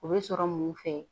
O bɛ sɔrɔ mun fɛ